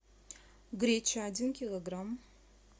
греча один килограмм